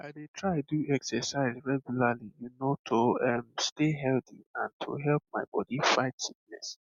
i dey try do exercise regularly you know to um stay healthy and to help my body fight sickness